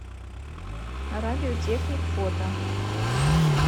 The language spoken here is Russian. радиотехник фото